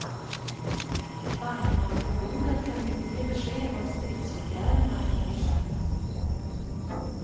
Bankmannaförbundet kunde inte ge besked om stridsåtgärderna i morse.